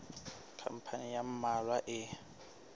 khampani ya ba mmalwa e